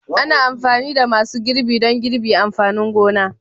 Ana amfani da masu girbi don girbi amfanin gona